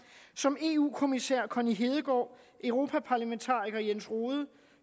som eu kommissær connie hedegaard europaparlamentariker jens rohde